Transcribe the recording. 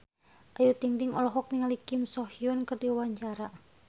Ayu Ting-ting olohok ningali Kim So Hyun keur diwawancara